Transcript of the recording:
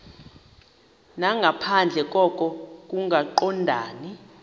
nangaphandle koko kungaqondani